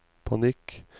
panikk